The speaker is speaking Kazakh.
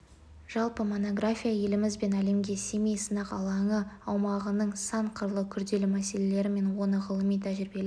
жалпы монография еліміз бен әлемге семей сынақ алаңы аумағының сан қырлы күрделі мәселелері мен оны ғылыми-тәжірибелік